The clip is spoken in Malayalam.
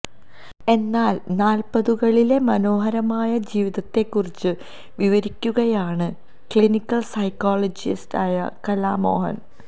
എന്നാൽ നാൽപ്പതുകളിലെ മനോഹരമായ ജിവിതത്തെ കുറിച്ച് വിവരിക്കുകയാണ് ക്ലിനിക്കൽ സൈക്കോളജിസ്റ്റായ കലാമോഹൻ